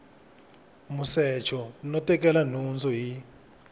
musecho no tekela nhundzu hi